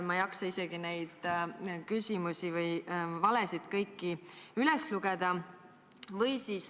Ma ei jaksa kõiki neid valesid isegi üles lugeda.